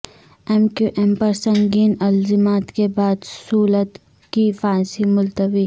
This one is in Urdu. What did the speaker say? ایم کیو ایم پر سنگین الزامات کے بعد صولت کی پھانسی ملتوی